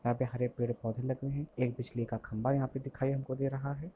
यहाँ पे हरे पेड़-पौधे लगे है एक बिजली का खंभा यहाँ पे दिखाई हमको दे रहा है।